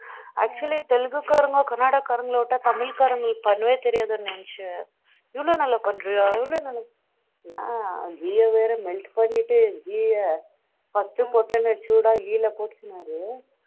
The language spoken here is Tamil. actually தெலுங்கு காரங்க, கன்னட காரங்கல விட்டா தமிழ் காரங்களுக்கு பண்ணவே தெரியாதுன்னு நினைச்சன் இவ்ளோ நல்ல பண்றியா எவ்வளோ நாள் பண்ற நான் வேற ghee எ வேற melt பன்னிட்டு ghee எ first போட்ட உடனே நீ சூடாகி ghee போட்டுக்கினாலும்